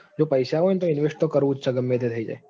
જો પૈસા હોય તો invest તો કરવું જ છે ગમે તે થઇ જાય.